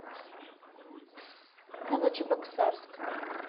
новочебоксарск